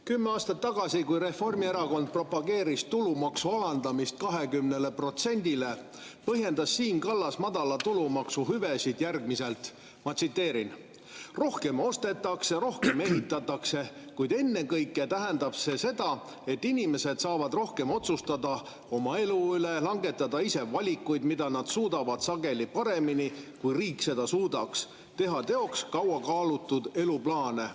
Kümme aastat tagasi, kui Reformierakond propageeris tulumaksu alandamist 20%-le, põhjendas Siim Kallas madala tulumaksu hüvesid järgmiselt: rohkem ostetakse, rohkem ehitatakse, kuid ennekõike tähendab see seda, et inimesed saavad rohkem otsustada oma elu üle, langetada ise valikuid, mida nad suudavad sageli paremini, kui riik seda suudaks, teha teoks kaua kaalutud eluplaane.